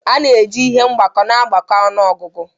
A na-eji ihe mgbako na-agbakọ ọnụ ọgụgụ